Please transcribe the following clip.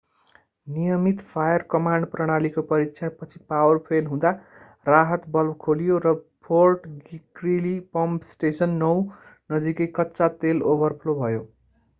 नियमित फायर-कमान्ड प्रणालीको परीक्षणपछि पावर फेल हुँदा राहत भल्भ खोलियो र फोर्ट ग्रीली पम्प स्टेसन 9 नजिकै कच्चा तेल ओभरफ्लो भयो